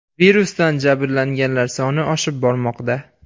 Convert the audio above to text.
Virusdan jabrlanganlar soni oshib bormoqda.